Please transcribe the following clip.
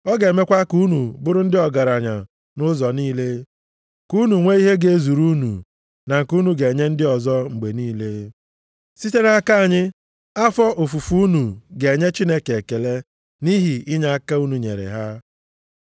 Ọ ga-emekwa ka unu bụrụ ndị ọgaranya nʼụzọ niile, ka unu nwee ihe ga-ezuru unu na nke unu ga-enye ndị ọzọ mgbe niile. Site nʼaka anyị, afọ ofufu unu ga-enye Chineke ekele nʼihi inyeaka unu nyere ha.